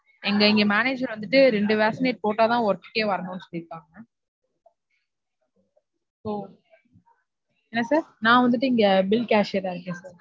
எங்க இங்க manager வந்துட்டு ரெண்டு vaccinate போட்டாதான் work குக்கே வரணும்னு சொல்லிருக்காங்க. So என்ன sir நான் வந்துட்டு இங்க bill cashier ஆ இருக்கேன் sir.